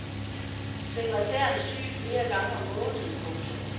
Sekretæren er syg flere gange om måneden. punktum